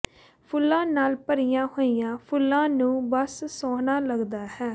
ਫੁੱਲਾਂ ਨਾਲ ਭਰੀਆਂ ਹੋਈਆਂ ਫੁੱਲਾਂ ਨੂੰ ਬਸ ਸੋਹਣਾ ਲੱਗਦਾ ਹੈ